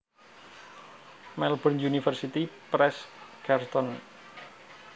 Melbourne University Press Carlton